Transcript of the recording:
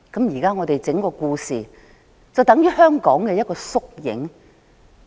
現在整個故事便等於香港的縮影。